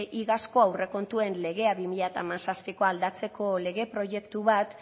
iazko aurrekontuen legea bi mila hamazazpikoa aldatzeko lege proiektu bat